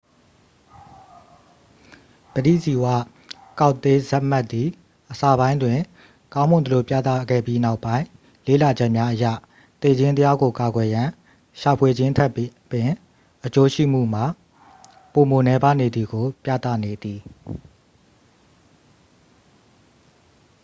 ပဋိဇီဝကောက်တေးလ် zmapp သည် အစပိုင်းတွင် ကောင်းမွန်သလိုပြသခဲ့ပြီး နောက်ပိုင်းလေ့လာချက်များအရ သေခြင်းတရားကိုကာကွယ်ရန် ရှာဖွေခြင်းထက်ပင် အကျိုးရှိမှုမှာပိုမိုနည်ပါးနေသည်ကို ပြသနေသည်